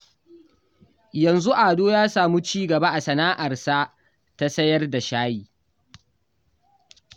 Yanzu Ado ya samu ci gaba a sana'arsa ta sayar da shayi